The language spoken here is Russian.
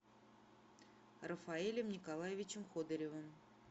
рафаэлем николаевичем ходыревым